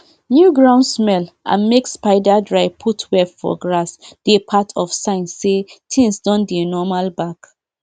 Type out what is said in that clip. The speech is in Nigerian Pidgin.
di elders go dey bless all di farming um tools so dat um nothing go happen um to di farmers and dem go get better harvest.